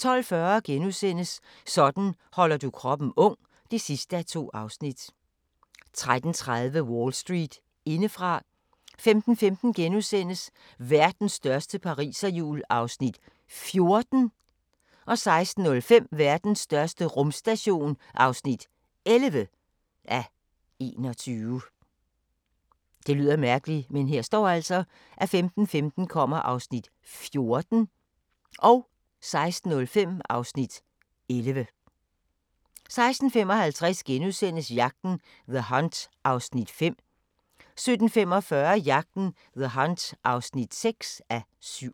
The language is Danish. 12:40: Sådan holder du kroppen ung (2:2)* 13:30: Wall Street indefra 15:15: Verdens største pariserhjul (14:21)* 16:05: Verdens største rumstation (11:21) 16:55: Jagten – The Hunt (5:7)* 17:45: Jagten – The Hunt (6:7)